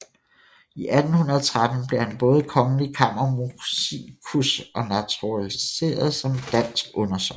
I 1813 blev han både kongelig kammermusikus og naturaliseret som dansk undersåt